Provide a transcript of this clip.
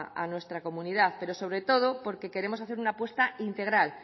a nuestra comunidad pero sobre todo porque queremos hacer una apuesta integral